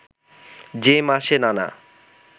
যে মাসে নানা